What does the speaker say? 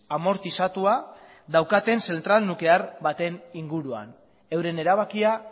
amortizatua daukaten zentral nuklear baten inguruan euren erabakia